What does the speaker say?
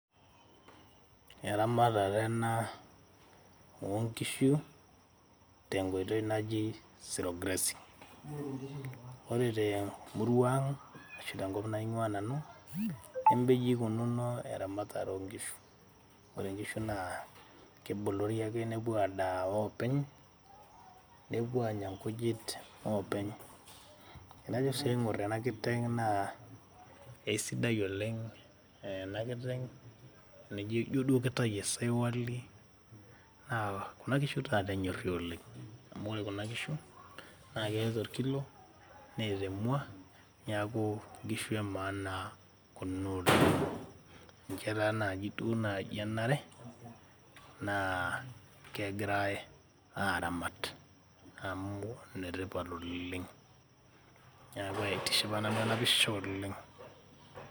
eramatare ena oonkishu tenkoitoi naji zero grazing. ore temurua ang ashu tenkop naingwaa nanu neme inji ikununo eramatare oonkishu. ore inkishu naa kebolori ake nepuo adaa oopeny ,nepuo anya nkujit openy. tenajo sii aingor ena kiteng naa keisidai oleng . ore ena kiteng ijo duo kitayu esaiwal naa kuna kishu taata enyori oleng .amu ore kuna kishu naa keyau orkilo , neeta emwa , neaku nkishu emaana kuna oleng.